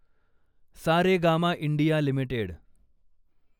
Saregama India limited